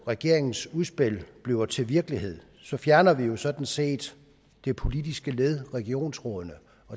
regeringens udspil bliver til virkelighed fjerner vi jo sådan set det politiske led regionsrådene